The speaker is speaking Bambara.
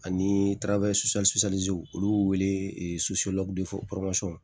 Ani olu wele